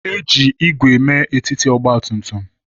E ji ígwè mee etiti ọgba tum tum.